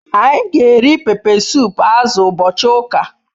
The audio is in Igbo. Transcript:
Anyi g'eri pepe sup azu ubochi uka